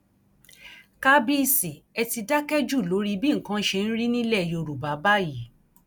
kábíìsì ẹ ti dákẹ jù lórí bí nǹkan ṣe ń rí nílẹ yorùbá báyìí